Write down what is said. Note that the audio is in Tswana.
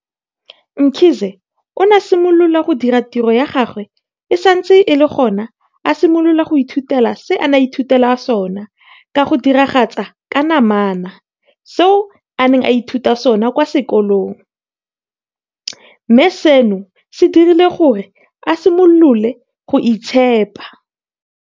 Mkhize o ne a simolola go dira tiro ya gagwe e santse e le gona a simolola go ithutela se a neng a ithutela sona ka go diragatsa ka namana seo a neng a ithuta sona kwa sekolong, mme seno se dirile gore a simolole go itshepa.